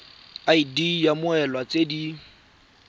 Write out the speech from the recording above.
id ya mmoelwa tse di